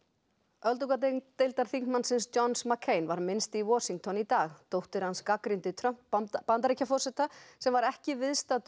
öldungadeildarþingmannsins Johns McCain var minnst í Washington í dag dóttir hans gagnrýndi Trump Bandaríkjaforseta sem var ekki viðstaddur